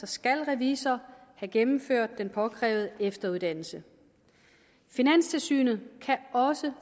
skal revisor have gennemført den påkrævede efteruddannelse finanstilsynet kan også